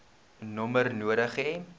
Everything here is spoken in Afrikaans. nommer nodig hê